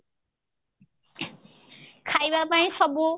ଖାଇବା ପାଇଁ ସବୁ